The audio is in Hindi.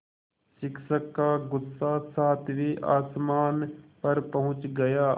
शिक्षक का गुस्सा सातवें आसमान पर पहुँच गया